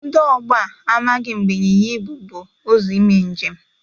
Ndị ọgbọ a amaghị mgbe ịnyịnya ibụ bụ ụzọ ime njem.